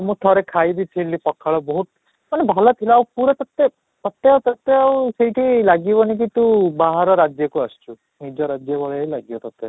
ମୁଁ ଠାରେ ଖାଇ ବି ଥିଲି ପଖାଳ ବହୁତ ମାନେ ଭଲ ଥିଲା ପୁରା ତୋତେ ତୋତେ ଆଉ ସେଇଠି ଲାଗିବନି କି ତୁ ବାହାର ରାଜ୍ୟକୁ ଆସିଛୁ, ନିଜ ରାଜ୍ୟ ଭଳିଆ ହିଁ ଲାଗିବ ତୋତେ